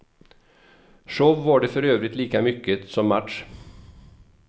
Show var det för övrigt lika mycket som match.